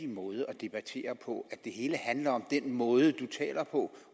måde at debattere på at det hele handler om den måde du taler på